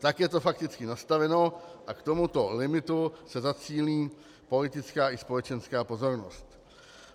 Tak je to fakticky nastaveno a k tomuto limitu se zacílí politická i společenská pozornost.